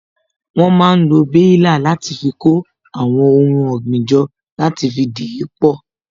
Wón máa ń lo baila láti fi kó àwọn ohun ọ̀gbìn jọ, láti fi dìípọ̀